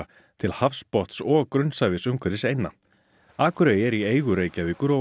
til hafsbotns og grunnsævisins umhverfis eynna akurey er í eigu Reykjavíkur og